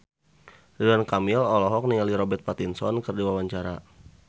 Ridwan Kamil olohok ningali Robert Pattinson keur diwawancara